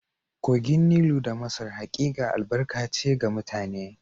Kogin Nilu na Masar hakika albarka ce ga mutane